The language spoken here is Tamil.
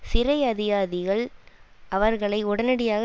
சிறை அதிகாரிகள் அவர்களை உடனடியாக